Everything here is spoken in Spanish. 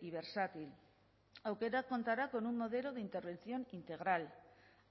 y versátil aukerak contará con un modelo de intervención integral